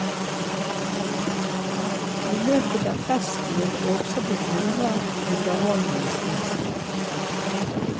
I løpet av festen vil det også bli andre underholdningsinnslag.